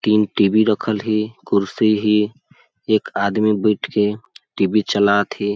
तीन T. V रखल है कुर्सी है एक आदमी बईठ के टी. बी चलात है ।